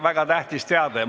Väga tähtis teade!